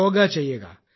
യോഗ ചെയ്യുക